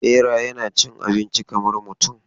Bera yana cin abinci kamar mutum.